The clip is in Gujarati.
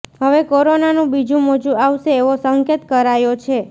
હવે કોરોનાનું બીજું મોજું આવશે એવો સંકેત કરાયો છે